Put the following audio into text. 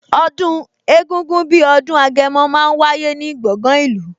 Ọdún egungun bí ọdún Agẹmọ máa ń wáyé ní gbọ̀ngan ìlú